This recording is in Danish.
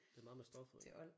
Det er meget med stoffet